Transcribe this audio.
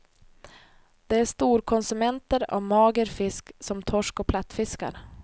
De är storkonsumenter av mager fisk som torsk och plattfiskar.